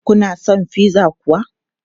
Kuna son pizza kuwa?